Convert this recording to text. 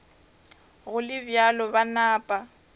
go le bjalo ba napa